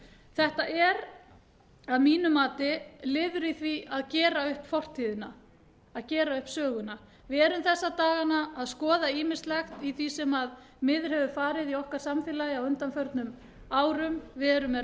þetta er að mínu mati liður í því að gera upp fortíðina að gera upp söguna við erum þessa dagana að skoða ýmislegt í því sem miður hefur farið í okkar samfélagi á undanförnum árum við erum með rannsóknarnefnd